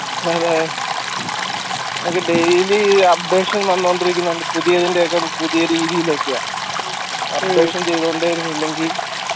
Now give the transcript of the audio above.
അതെ നമുക്ക് daily updation വന്നോണ്ടിരിക്കുന്നോണ്ട് പുതിയതിന്റെ ഒക്കെ പുതിയ രീതിയിലൊക്കെയാ updation ചെയ്തോണ്ട ഇരുന്നില്ലെങ്കി